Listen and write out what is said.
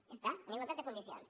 ja està en igualtat de condicions